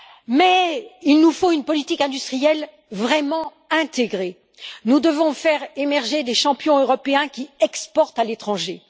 Mais nous avons besoin d'une politique industrielle vraiment intégrée. Nous devons faire émerger des champions européens qui exportent à l'étranger.